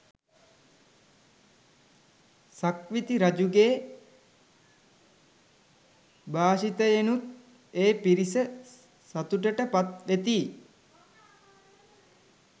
සක්විති රජුගේ භාෂිතයෙනුත් ඒ පිරිස සතුටට පත් වෙති